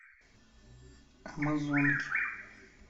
амазонки